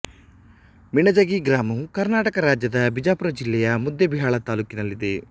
ಮಿಣಜಗಿ ಗ್ರಾಮವು ಕರ್ನಾಟಕ ರಾಜ್ಯದ ಬಿಜಾಪುರ ಜಿಲ್ಲೆಯ ಮುದ್ದೇಬಿಹಾಳ ತಾಲ್ಲೂಕಿನಲ್ಲಿದೆ